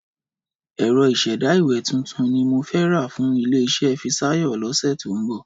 Ẹ̀rọ ìṣẹ̀dá ìwé titun ni mo fẹ́ rà fún ilé-iṣẹ́ Fisáyọ̀ lọ́sẹ̀ tó ń bọ̀.